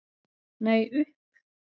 Nei, upp.